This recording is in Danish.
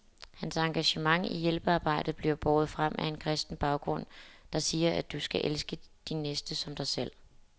Hans engagement i hjælpearbejdet bliver båret frem af en kristen baggrund, der siger, at du skal elske din næste som dig selv.